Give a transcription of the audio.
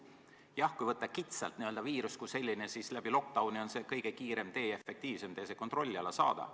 Jah, kui võtta kitsalt n-ö viirus kui selline, siis läbi lockdown'i on see kõige kiirem, efektiivsem tee see kontrolli alla saada.